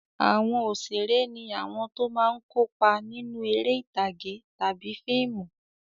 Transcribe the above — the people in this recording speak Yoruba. Àwọn òṣèré ní àwọn tó máa ń kópa nínú eré ìtàgé tàbí fíìmù.